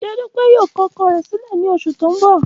Ṣe Dupe yoo kọ ọkọ rẹ silẹ ni oṣu ti n bọ?